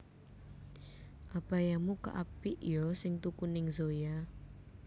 Abayamu kok apik yo sing tuku ning Zoya